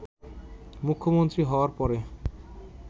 মুখ্যমন্ত্রী হওয়ার পরে